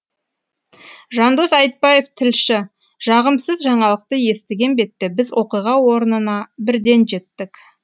жандос айтбаев тілші жағымсыз жаңалықты естіген бетте біз оқиға орнына бірден жеттік